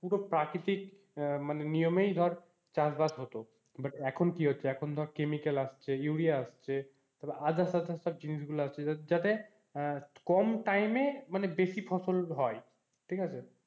পুরো প্রাকৃতিক আহ মানে নিয়মেই ধর চাষবাস হতো but এখন কি হচ্ছে এখন ধর chemical আসছে urea আসছে তারপর আজাসজাত জিনিসগুলো আসছে যাতে আহ কম time এ মানে বেশি ফসল হয়, ঠিক আছে।